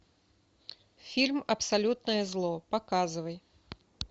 фильм абсолютное зло показывай